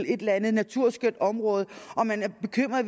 et eller andet naturskønt bynært område og man